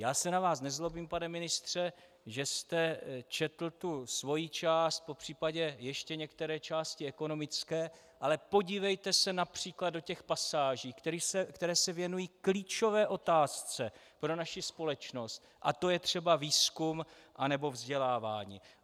Já se na vás nezlobím, pane ministře, že jste četl tu svoji část, popřípadě ještě některé části ekonomické, ale podívejte se například do těch pasáží, které se věnují klíčové otázce pro naši společnost, a to je třeba výzkum a nebo vzdělávání.